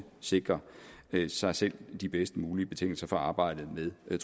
sikre sig selv de bedst mulige betingelser for arbejdet med